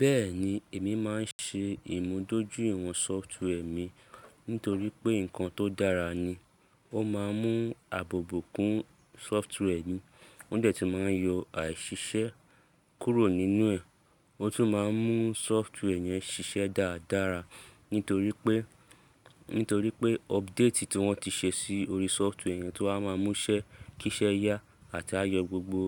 Bẹ́ẹ̀ni, èmi máa ń ṣe ìmúdójúìwọ̀n sọftwẹ́ẹ̀ mi nítorí pé nǹkan tó dára ni. Ó máa ń mú àbòbò kún sọftwẹ́ẹ̀ ni, ó de tun máa yọ àìṣiṣẹ́ kúrò nínú ẹ̀, ó tún máa ń mú sọftwẹ́ẹ̀ yẹn ṣiṣẹ́ dáradára nítorí pé, nítorí pé update tí wọ́n ti ṣe sí orí sọftwẹ́ẹ̀ yẹn tó wa máa múṣẹ́ kíṣẹ́ yá àti á yọ gbogbo